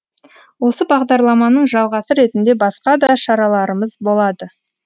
осы бағдарламаның жалғасы ретінде басқа да шараларымыз болады